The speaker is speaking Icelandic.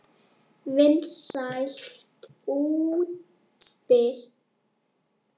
Vinsælt útspil.